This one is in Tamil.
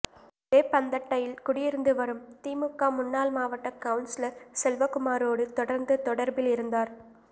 வேப்பந்தட்டையில் குடியிருந்துவரும் திமுக முன்னாள் மாவட்ட கவுன்சிலர் செல்வகுமாரோடு தொடர்ந்து தொடர்பில் இருந்தார்